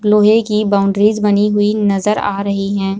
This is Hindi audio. लोहे की बाउंड्रीज बनी हुई नजर आ रही हैं।